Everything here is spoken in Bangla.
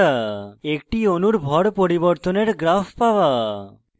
একটি অণুর ভর পরিবর্তনের graph পাওয়া